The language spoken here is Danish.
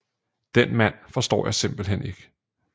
Den mand forstår jeg simpelthen ikke